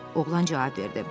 Oğlan cavab verdi.